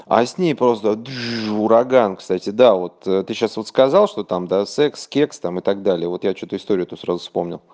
а с ней просто ураган кстати да вот ты сейчас вот сказал что там да секс кекс там и так далее вот я что-то историю эту сразу вспомнил